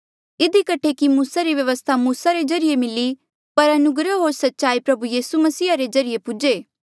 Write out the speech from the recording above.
इधी कठे कि मूसा री व्यवस्था मूसा रे ज्रीए मिली पर अनुग्रह होर सच्चाई प्रभु यीसू मसीहा रे ज्रीए पूजे